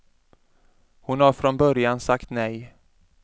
Hon har från början sagt nej.